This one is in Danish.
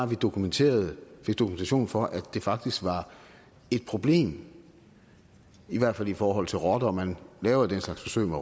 vi dokumentation dokumentation for at det faktisk var et problem i hvert fald i forhold til rotter man laver jo den slags forsøg med